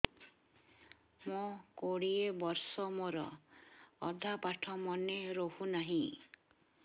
ମୋ କୋଡ଼ିଏ ବର୍ଷ ମୋର ଅଧା ପାଠ ମନେ ରହୁନାହିଁ